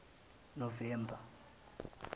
novemba